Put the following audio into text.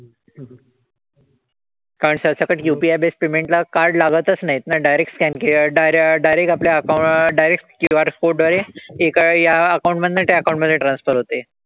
कारण सरसकट UPI based payment ला card लागतंच नाहीत ना. direct scan किंवा dire direct आपल्या account direct QR code द्वारे एका या account मधनं त्या account मधे transfer होते.